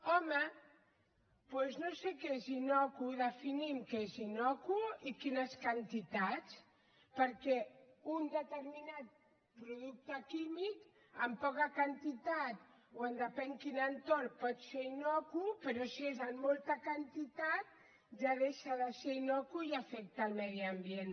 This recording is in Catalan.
home doncs no sé què és innocu definim què és innocu i quines quantitats perquè un determinat producte químic en poca quantitat o en depèn quin entorn pot ser innocu però si és en molta quantitat ja deixa de ser innocu i afecta el medi ambient